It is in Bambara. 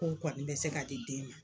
Ko o kɔni be se ka di den ma.